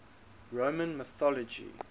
roman mythology